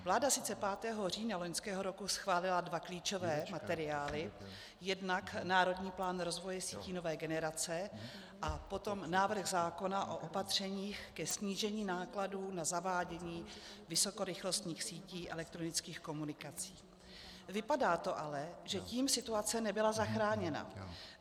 Vláda sice 5. října loňského roku schválila dva klíčové materiály, jednak národní plán rozvoje sítí nové generace a potom návrh zákona o opatřeních ke snížení nákladů na zavádění vysokorychlostních sítí elektronických komunikací, vypadá to ale, že tím situace nebyla zachráněna.